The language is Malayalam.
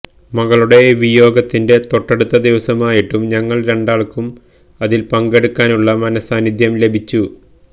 മകളുടെ വിയോഗത്തിന്റെ തൊട്ടടുത്ത ദിവസമായിട്ടും ഞങ്ങള് രണ്ടാള്ക്കും അതില് പങ്കെടുക്കാനുള്ള മനഃസാന്നിദ്ധ്യം ലഭിച്ചു